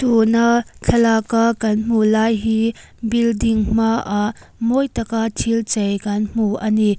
tuna thlalak a kan hmuh lai hi building hmaah mawi taka thil chei kan hmu ani.